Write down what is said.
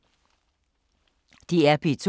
DR P2